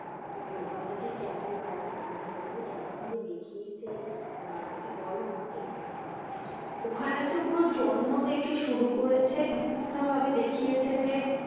প্রভাবটা ঠিক কেমন আর কি? ওখানে ঠিক কেমন ভাবে দেখিয়েছে? আহ একটু বল আমাকে। ওখানে তো পুরো জন্ম থেকে শুরু করেছে বিভিন্ন ভাবে দেখিয়েছে যে,